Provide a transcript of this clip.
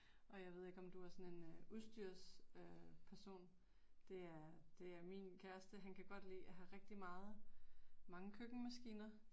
Og jeg ved ikke om du er sådan en udstyrs øh person. Det er det er min kæreste, han kan godt lide at have rigtig meget, mange køkkenmaskiner